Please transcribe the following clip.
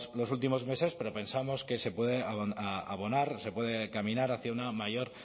los últimos meses pero pensamos que se puede abonar se puede caminar hacia una mayor